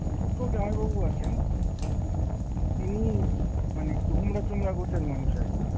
তুতো জামাইবাবু আছেন। যিনি মানে একটু হোমরা-চোমরা গোছের মানুষ আরকি।